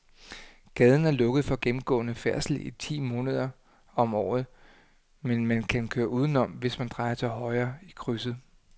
Gaden er lukket for gennemgående færdsel ti måneder om året, men man kan køre udenom, hvis man drejer til højre i krydset.